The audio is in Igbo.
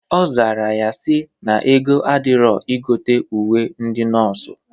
Ọ zara ya sị na ego adịrọ igote uwe ndị nọọsụ.